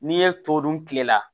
N'i ye to dun kile la